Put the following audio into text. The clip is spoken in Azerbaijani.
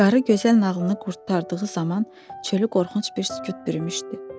Qarı gözəl nağılını qurtardığı zaman çölü qorxunc bir sükut bürümüşdü.